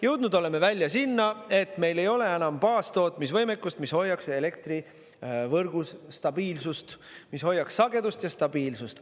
Jõudnud oleme välja sinna, et meil ei ole enam baastootmisvõimekust, mis hoiaks elektrivõrgus stabiilsust, mis hoiaks sagedust ja stabiilsust.